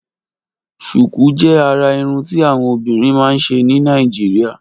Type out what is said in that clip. Ṣùkùú jè àrà irùn ti awọn obìrín mà n ṣé ni Nàijiriá